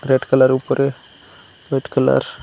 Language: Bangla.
রেড কালারের উপরে হোয়াইট কালার ।